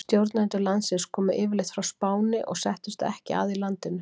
Stjórnendur landsins komu yfirleitt frá Spáni og settust ekki að í landinu.